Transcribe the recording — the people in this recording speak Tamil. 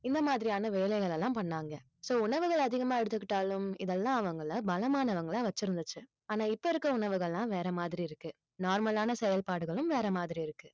இந்த மாதிரியான வேலைகளெல்லாம் பண்ணாங்க so உணவுகள் அதிகமா எடுத்துக்கிட்டாலும் இதெல்லாம் அவங்களை பலமானவங்களா வச்சிருந்துச்சு ஆனா இப்ப இருக்கிற உணவுகள் எல்லாம் வேற மாதிரி இருக்கு normal ஆன செயல்பாடுகளும் வேற மாதிரி இருக்கு